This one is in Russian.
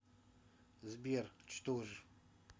сбер что ж